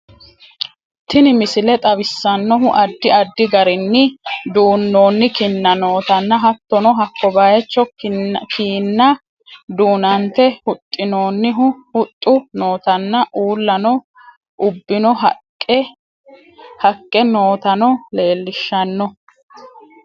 Tinni misille xawisanohuuno addi addi garrin duunonni kinna nootana hattono hakko bayichoo kiina duunate huuxinonhu huuxu nootanna uulano uubino hakke nootano lelishanno.